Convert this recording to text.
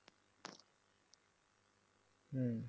হম